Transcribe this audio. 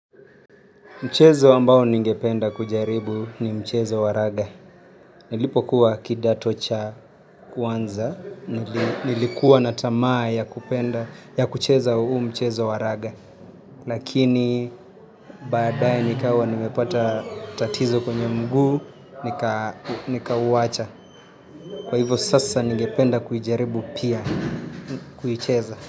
Mchezo ambao ningependa kujaribu ni mchezo wa raga. Nilipokuwa kidato cha kwanza, nilikuwa na tamaa ya kupenda, ya kucheza huu mchezo wa raga. Lakini baadaye nikawa nimepata tatizo kwenye mguu, nikauwacha. Kwa hivyo sasa ningependa kuijaribu pia, kuicheza.